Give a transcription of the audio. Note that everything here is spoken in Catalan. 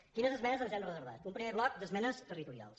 quines esmenes ens hem reservat un primer bloc d’esmenes territorials